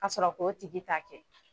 Asɔrɔ k'o tigi ta kɛ